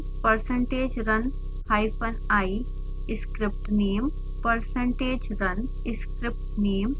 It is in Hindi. percentage run hyphen i script name